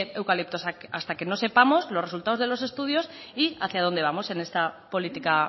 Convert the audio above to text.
eucaliptos hasta que no sepamos los resultados de los estudios y hacia dónde vamos en esta política